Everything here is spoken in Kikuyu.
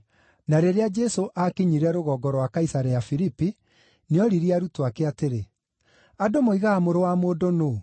Na rĩrĩa Jesũ aakinyire rũgongo rwa Kaisarea-Filipi, nĩoririe arutwo ake atĩrĩ, “Andũ moigaga Mũrũ wa Mũndũ nũũ?”